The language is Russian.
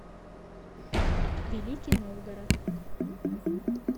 великий новгород